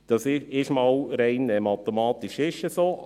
Das ist rein mathematisch so.